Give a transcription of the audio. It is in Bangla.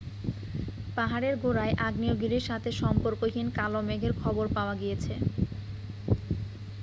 পাহাড়ের গোড়ায় আগ্নেয়গিরির সাথে সম্পর্কহীন কালো মেঘের খবর পাওয়া গিয়েছে